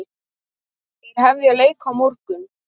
Þeir hefja leik á morgun.